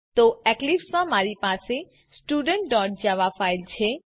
તો એક્લીપ્સમાં મારી પાસે studentજાવા ફાઈલ છે